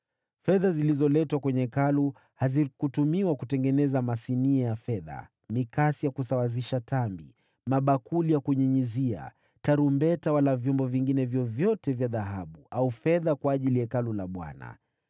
Fedha zilizoletwa kwenye Hekalu hazikutumiwa kutengenezea masinia ya fedha, mikasi ya kusawazishia tambi, mabakuli ya kunyunyizia, tarumbeta wala vyombo vingine vyovyote vya dhahabu au fedha kwa ajili ya Hekalu la Bwana ;